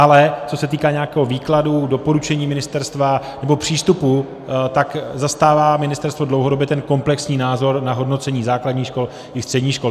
Ale co se týká nějakého výkladu, doporučení ministerstva nebo přístupu, tak zastává ministerstvo dlouhodobě ten komplexní názor na hodnocení základních škol i středních škol.